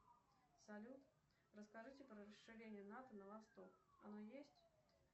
салют расскажите про расширение нато на восток оно есть